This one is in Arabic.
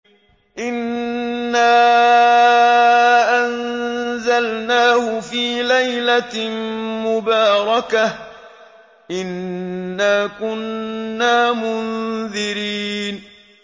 إِنَّا أَنزَلْنَاهُ فِي لَيْلَةٍ مُّبَارَكَةٍ ۚ إِنَّا كُنَّا مُنذِرِينَ